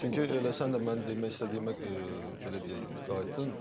Çünki elə sən də mən demək istədiyimə belə deyək, qayıtdın.